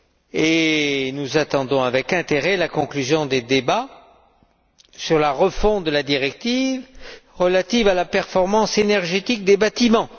et nous attendons avec intérêt la conclusion des débats sur la refonte de la directive relative à la performance énergétique des bâtiments.